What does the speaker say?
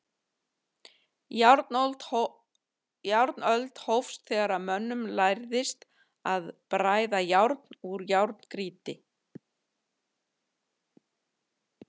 Járnöld hófst þegar mönnum lærðist að bræða járn úr járngrýti.